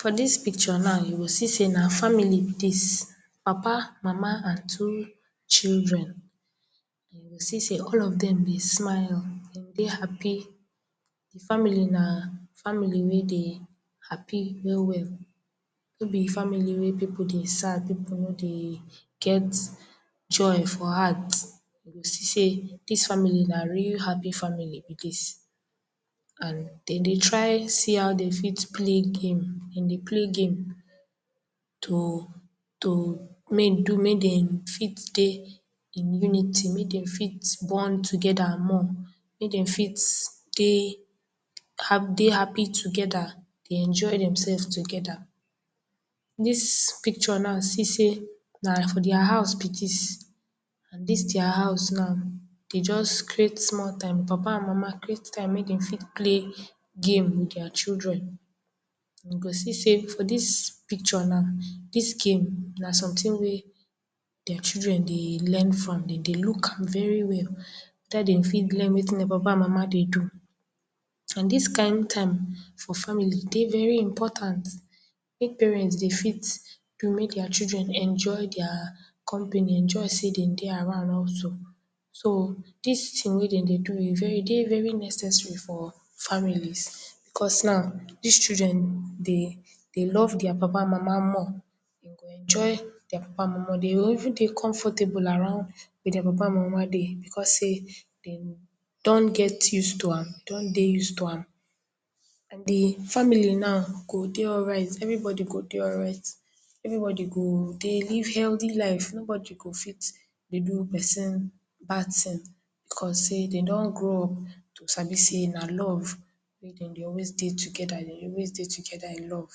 For dis pikcho now you go see sey na famili be dis, papa, mama and two children. You go see sey all of dem dey smile, dem dey hapi, di family na family wey dey hapi we-we. No be famili wey pipu dey sad, pipu no dey get joy for heart. You go see sey, dis famili na real hapi family be dis and den dey try see how den fit pley game, pley game, to …to…. Mey do make dem fit dey in unity, mey dem fit born togeda more, mey dem fit dey hapi togeda, dey enjoy demsef togeda. Dis pikcho na see sey, na for dia hous be dis and dis dia hous na de just creat small time, papa and mama create time mey dem fit pley game with dia children and you go see sey for dis pikcho na, dis game na somtin wey dia children dey learn from, den dey luk am very well, afta dem fit learn wetin mama and papa dey do. And dis kind time for family dey veri impotant, wey parent sey fit do make dia children enjoy dia company, enjoy sey de dey around. So. Dis tin wey dem dey do e dey very ipmportant, e dey very necessary for familis becos na, dis children dey love dia papa and mama more dem go enjoy dia papa and mama more, dem go even dey confortable about dia papa and mama dey becos sey dem don get use to am dem don dey use to am. And di famili now go dey alright, everibodi go dey alright, everibodi go dey live heldi life nobody go fit do pesin bad tin becos sey dey don grow up to sabi sey na love wey den dey always dey togeda, wey den dey always dey togeda in love.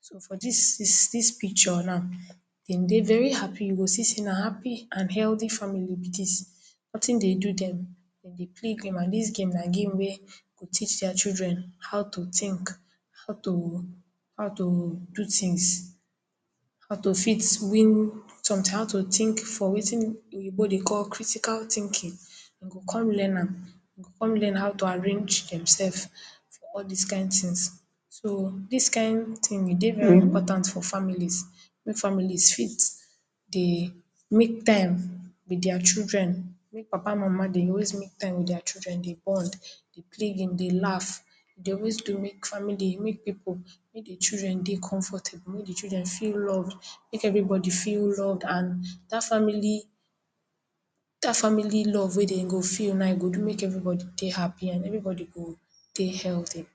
So for dis pikcho now, dem dey veri hapi, you go see sey na hapi and heldi forum be dis, notin dey do dem, dem dey play game and dis game na game wey go teach dia children how to tink, how to… how to… do tins, how to fix….? How to tink for wetin oyibo dey call critical tinkin, den go come learn am, den go come learn how to arrange demsef for all dis kind tins. So dis kind tins, e dey very impotant for familis, mey familis fit dey make time with dia children, make papa and mama dey always make time with dia children dey bond. Dey pley game dey laf, dey always dey make famili, make pipu, make di children dey comfortable make di children feel love, make everi bodi feel love and dat family love wey dey go do now, e go do make everi bodi dey hapi, and everi bodi go dey heldi.